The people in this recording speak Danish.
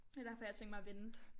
Det derfor jeg har tænkt mig at vente